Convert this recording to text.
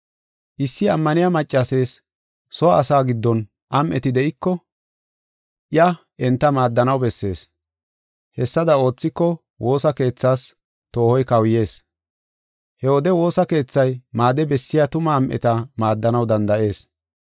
Issi ammaniya maccasees soo asaa giddon am7eti de7iko, iya enta maaddanaw bessees. Hessada oothiko, woosa keethaas toohoy kawuyees. He wode woosa keethay maade bessiya tuma am7eta maaddanaw danda7ees.